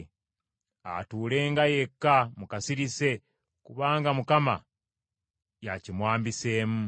Atuulenga yekka mu kasirise kubanga Mukama y’akimwambiseemu.